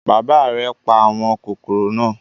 Bàbá rẹ̀ pa àwọn kòkòrò náà.